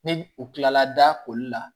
Ni u kilala da koli la